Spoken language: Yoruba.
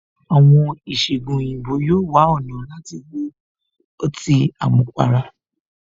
Àwọn ìṣẹgun òyìnbó yóò wá ọ̀nà láti wo ọtí àmupara